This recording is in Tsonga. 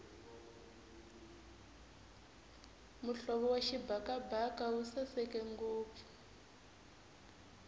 muhlovo wa xibakabaka wu sasekile ngopfu